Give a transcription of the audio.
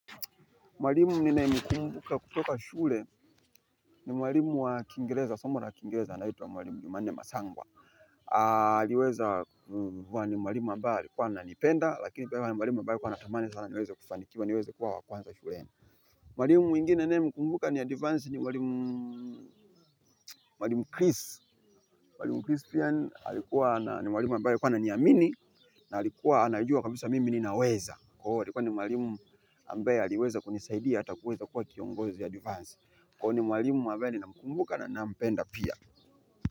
Mwalimu ninayemkumbuka kutoka shule ni mwalimu wa kiingereza, somo la kiingereza, anaitwa mwalimu jumanne masangwa. Aliweza kuwa ni mwalimu ambaye alikuwa ananipenda, lakini pia ni mwalimu ambaye alikuwa anatamani sana niweze kufanikiwa niweze kuwa wa kwanza shule. Mwalimu mwingine ninayemkumbuka ni adivansi ni mwalimu Chris. Mwalimu Chris pia ni mwalimu ambaye alikuwa ananiamini, na alikuwa anajua kabisa mimi ninaweza. Kwa hiyo, alikuwa ni mwalimu ambaye aliweza kunisaidia hata kuweza kuwa kiongozi adivansi. Kwani ni mwalimu ambaye ninamkumbuka na ninampenda pia.